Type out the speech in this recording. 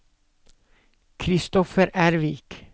Christopher Ervik